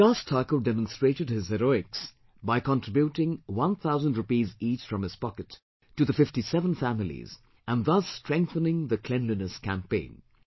Vikas Thakur demonstrated his heroics by contributing one thousand rupees each from his pocket to the 57 families and thus strengthening the Cleanliness Campaign